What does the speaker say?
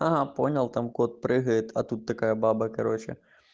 угу понял там кот прыгает а тут такая баба короче